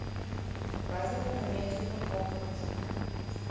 показывай комедию про похороны